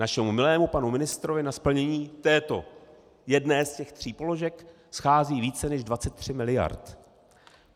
Našemu milému panu ministrovi na splnění této jedné z těch tří položek schází více než 23 miliard.